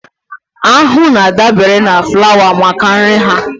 Aṅụ na-adabere na flawa maka nri ha